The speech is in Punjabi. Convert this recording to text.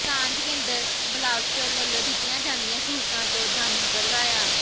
ਸਾਂਝ ਕੇਂਦਰ ਬਲਾਚੌਰ ਵੱਲੋਂ ਦਿੱਤੀਆਂ ਜਾਂਦੀਆਂ ਸਹੂਲਤਾਂ ਤੋਂ ਜਾਣੂੰ ਕਰਵਾਇਆ